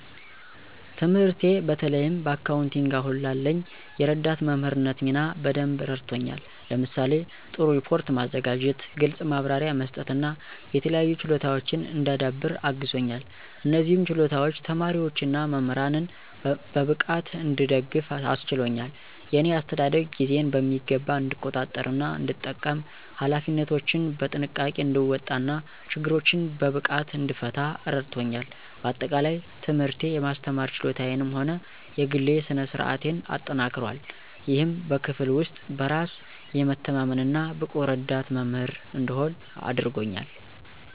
ትምህርቴ በተለይም በአካውንቲንግ አሁን ላለኝ የረዳት መምህርነት ሚና በደንብ አረድቶኛል። ለምሳሌ:- ጥሩ ሪፖርት ማዘጋጀት፣ ግልጽ ማብራሪያ መስጠት እና የተለያዩ ችሎታወችን እንዳዳብር አግዞኛል። እነዚህም ችሎታዎች ተማሪዎች እና መምህራንን በብቃት እንድደግፍ አስችሎኛል። የእኔ አስተዳደግ ጊዜን በሚገባ እንድቆጣጠር እና እንድጠቀም፣ ኃላፊነቶችን በጥንቃቄ እንድወጣ እና ችግሮችን በብቃት እንድፈታ እረዳቶኛል። በአጠቃላይ፣ ትምህርቴ የማስተማር ችሎታዬንም ሆነ የግሌ ስነ-ስርአቴን አጠናክሯል፣ ይህም በክፍል ውስጥ በራስ የመተማመን እና ብቁ ረዳት መምህር እንድሆን አድርጎኛል።